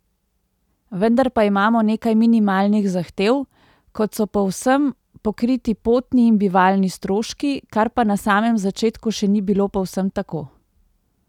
Vendar pa imamo nekaj minimalnih zahtev, kot so povsem pokriti potni in bivalni stroški, kar pa na samem začetku še ni bilo povsem tako!